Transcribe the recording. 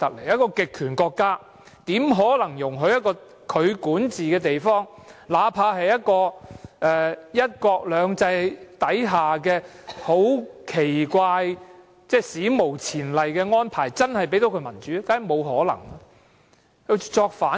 一個極權國家怎可能容許其管治的地方，哪怕這地方有"一國兩制"這個史無前例的安排，又怎可能真正給它民主呢？